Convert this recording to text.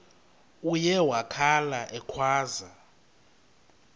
uye wakhala ekhwaza